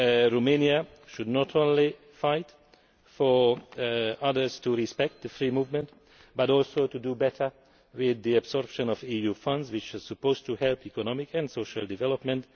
Romania should not only fight for others to respect free movement but also do better with the absorption of EU funds, which are supposed to promote economic and social development.